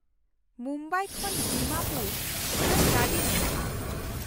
ᱢᱩᱢᱵᱟᱭ ᱠᱷᱚᱱ ᱰᱤᱢᱟᱯᱩᱨ ᱩᱰᱟᱹᱱ ᱜᱟᱹᱰᱤ ᱢᱮᱱᱟᱜᱼᱟ ᱾